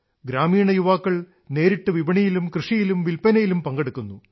ഗ്രാമീണ യുവാക്കൾ നേരിട്ട് വിപണിയിലും കൃഷിയിലും വില്പനയിലും പങ്കെടുക്കുന്നു